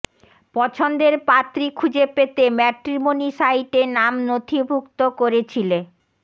পছন্দের পাত্রী খুঁজে পেতে ম্যাট্রিমনি সাইটে নাম নথিভুক্ত করেছিলে